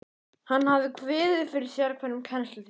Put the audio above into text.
Hann hafði kviðið fyrir sérhverjum kennslutíma.